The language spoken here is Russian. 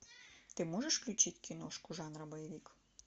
ты можешь включить киношку жанра боевик